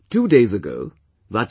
Two days ago i